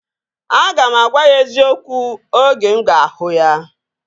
Aga m agwa ya eziokwu oge mụ ga-ahụ ya